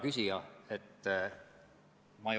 Suur tänu!